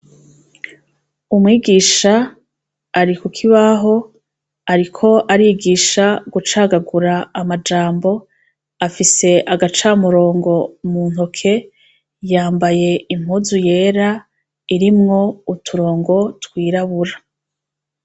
Icumba c' isomero, har' umwigish' ari kukibah' arik' arigish' icigwa c' ikirundi, arikubigish' ingene bacagagur' amajambo, kukibaho handits' ijambo: "ubukene" munsi riracagaguye u-bu-ke-ne, afis' agacamurongo muntoke, yambay' impuz' irimw' uturongo twirabura.